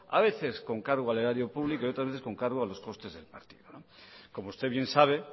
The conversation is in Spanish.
a veces con cargo al erario público y otras veces con cargo a los costes del partido como usted bien sabe